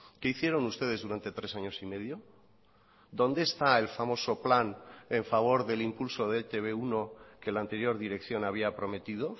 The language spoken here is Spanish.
qué hicieron ustedes durante tres años y medio dónde está el famoso plan en favor del impulso de etb uno que la anterior dirección había prometido